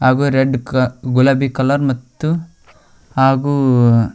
ಹಾಗು ರೆಡ್ ಕ ಗುಲಾಬಿ ಕಲರ್ ಮತ್ತು ಹಾಗು--